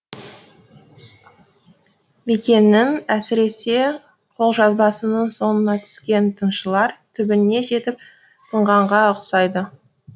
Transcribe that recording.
бекеңнің әсіресе қолжазбасының соңына түскен тыңшылар түбіне жетіп тынғанға ұқсайды